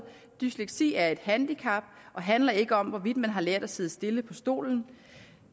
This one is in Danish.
dysleksi er et handicap og handler ikke om hvorvidt man har lært at sidde stille på stolen